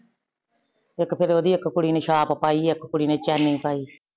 ਇਕ ਫੇਰ ਓਹ ਦੀ ਇਕ ਕੁੜੀ ਨੇ ਚਾਪ ਪਾਈ, ਇੱਕ ਕੁੜੀ ਨੇ ਚੈਨੀ ਪਾਈ।